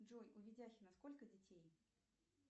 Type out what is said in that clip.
джой у видяхина сколько детей